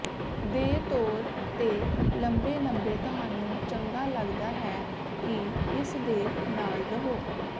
ਦੇ ਤੌਰ ਤੇ ਲੰਬੇ ਲੰਬੇ ਤੁਹਾਨੂੰ ਚੰਗਾ ਲੱਗਦਾ ਹੈ ਕਿ ਇਸ ਦੇ ਨਾਲ ਰਹੋ